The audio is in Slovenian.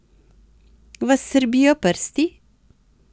Vas srbijo prsti?